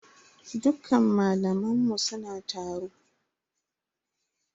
Dukkan malaman mu suna taro.